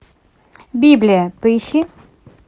библия поищи